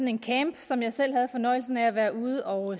en camp som jeg selv havde fornøjelsen af at være ude og